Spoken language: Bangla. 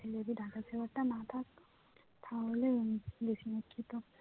data saver তা যদি না থাকতো তাহলে আবার বেশি net খেত